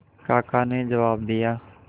काका ने जवाब दिया